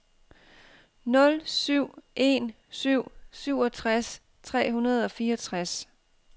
nul syv en syv syvogtres tre hundrede og fireogtres